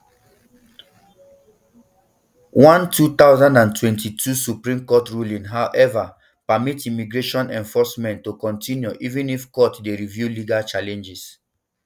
one two thousand and twenty-two supreme court ruling however permit immigration enforcement to continue even if courts dey review legal challenges